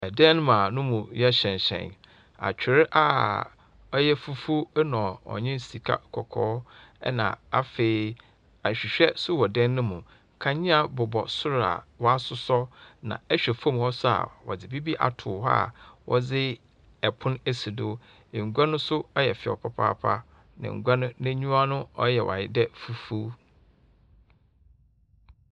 Dan mu a no mu yɛ hyerɛnhyerɛn. Atwer a ɔyɛ fufuw na ɔnye sikakɔkɔɔ, na afei ahwehwɛ nso wɔ dan no mu. Kadzea bobɔ sor a wɔasossɔ, na ihwɛ fam hɔ nso a. wɔdze biribi ato hɔ a wɔdze pon asi do. Ngua no nso yɛ fɛw papaapa, na ngua no n'enyiwa no reyɛ ayɛ dɛ fufuw.